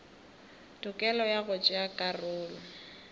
tokelo ya go tšea karolo